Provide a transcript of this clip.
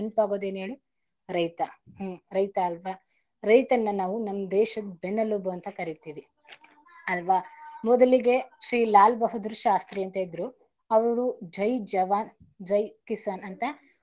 ನೆನಪಾಗೋದು ಏನ್ ಹೇಳಿ ರೈತ ರೈತ ಅಲ್ವಾ ರೈತನ್ನ ನಾವು ನಮ್ ದೇಶದ ಬೆನ್ನೆಲುಬು ಅಂತ ಕರೀತಿವಿ ಅಲ್ವಾ ಮೊದಲಿಗೆ ಶ್ರೀ ಲಾಲ್ ಬಹುದ್ದೋರ್ ಶಾಸ್ತ್ರೀ ಅಂತ ಇದ್ರು ಅವರು ಜೈ ಜವಾನ ಜೈ ಕಿಸಾನ್.